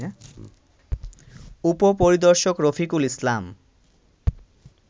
উপপরিদর্শক রফিকুল ইসলাম